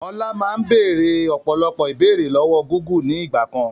Ọlá máa ń béèrè ọ̀pọ̀lọpọ̀ ìbéèrè lọ́wọ́ Gúgù ni ìgbàkan.